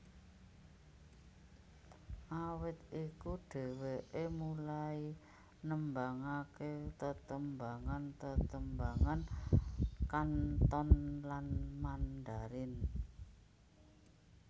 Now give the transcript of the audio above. Awit iku dheweké mulai nembangaké tetembangan tetembangan Kanton lan Mandarin